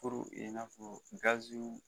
i n'afɔ gaziw